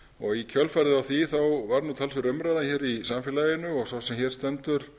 þar í kjölfarið á því varð talsverð umræða í samfélaginu og sá sem hér stendur